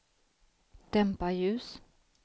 dämpa ljus